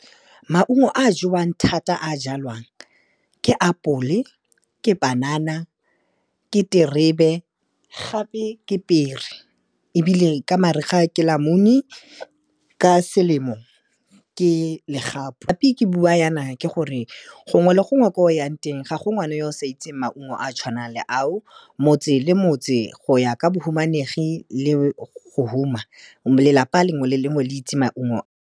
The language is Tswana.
Maungo a jewang thata a jalwang, ke apole ke panana, ke terebe gape ke pere ebile ka mariga ke lamune, ka selemo ke legapu. Gape ke bua jana, ke gore gongwe le gongwe kwa o yang teng, ga go ngwana yo o sa itseng maungo a a tshwanang le ao, motse le motse go ya ka bahumanegi le go huma, lelapa lengwe le lengwe le itse maungo.